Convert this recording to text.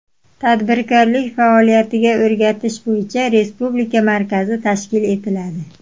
Tadbirkorlik faoliyatiga o‘rgatish bo‘yicha respublika markazi tashkil etiladi.